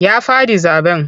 Ya faɗi zaɓen.